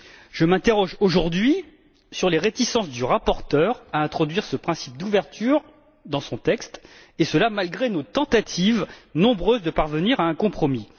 Je m'interroge, aujourd'hui, sur les réticences du rapporteur à introduire ce principe d'ouverture dans son texte, et cela malgré nos nombreuses tentatives de parvenir à un compromis.